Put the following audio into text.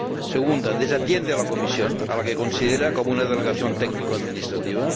Segunda, desatiende a la Comisión, a la que considera como una delegación técnico administrativa.